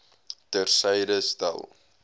ter syde stel